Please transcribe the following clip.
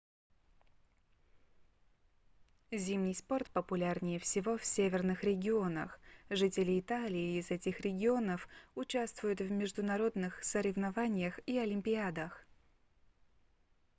зимний спорт популярнее всего в северных регионах жители италии из этих регионов участвуют в международных соревнованиях и олимпиадах